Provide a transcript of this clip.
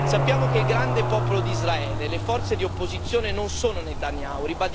Sappiamo che il grande popolo d'Israele e le forze di opposizione non sono Netanyahu.